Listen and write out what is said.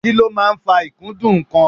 Kí ló máa ń fa ikudun nnkan?